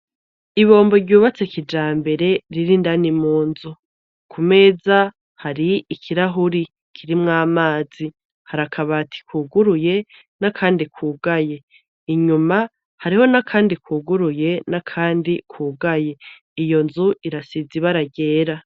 Ibombo ryubatse kijambere riri indani mu nzu ku meza hari ikirahuri kirimwo amazi hari akabati kuguruye n' akandi kugaye inyuma hariho n' akandi kuguruye n' akandi kugaye iyo nzu irasize ibara ryera.